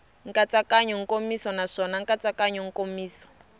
nkatsakanyo nkomiso naswona nkatsakanyo nkomiso